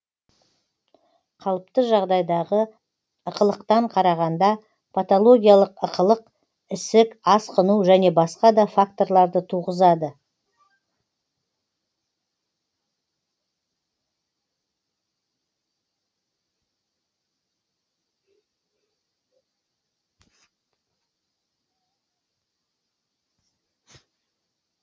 қалыпты жағдайдағы ықылықтан қарағанда патологиялық ықылық ісік асқыну және басқа да факторларды туғызады